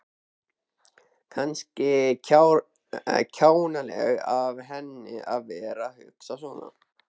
Kannski kjánalegt af henni að vera að hugsa svona.